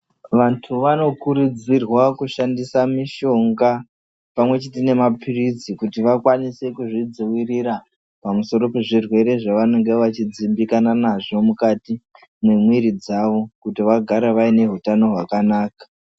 Vandu vanokurudzirwa kushandisa mishonga pamwe chete nemapritsi kuti vakwanise kuzvidivirira pamusoro pezvirwere zvavanenge vachidimbikana nazvo mukati mwemuwiri dzavo kuti vagare vaine utano wakanaka.